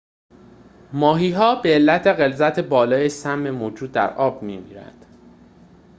ماهی‌ها به علت غلظت بالای سم موجود در آب می‌میرند